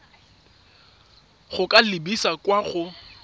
go ka lebisa kwa go